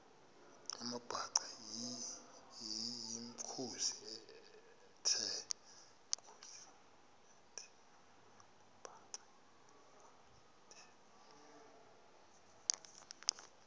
amabhaca yimikhosi the